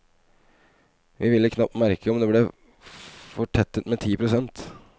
Vi ville knapt merke om det ble fortettet med ti prosent.